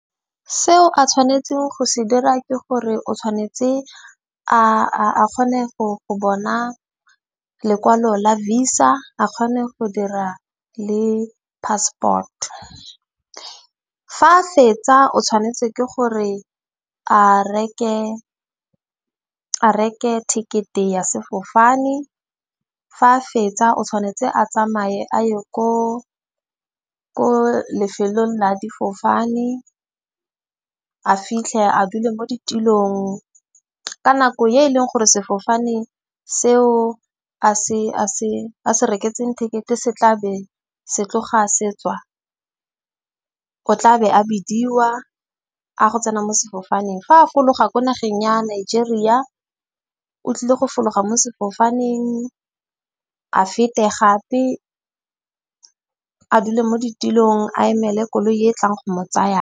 Seo a tshwanetseng go se dira ke gore o tshwanetse a kgone go bona lekwalo la visa a kgone go dira le passport. Fa a fetsa o tshwanetse ke gore a reke ticket-e ya sefofane. Fa a fetsa o tshwanetse a tsamaye a ye ko lefelong la difofane a fitlhe a dule mo ditilong. Ka nako e e leng gore sefofane seo a se reketseng ticket-e se tla be se tloga a se tswa. O tla be a bidiwa a go tsena mo sefofaneng. Fa a fologa ko nageng ya Nigeria o tlile go fologa mo sefofaneng, a fete gape a dule mo ditilong a emele koloi e e tlang go mo tsaya.